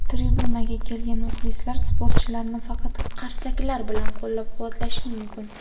tribunaga kelgan muxlislar sportchilarni faqat qarsaklar bilan qo‘llab-quvvatlashi mumkin.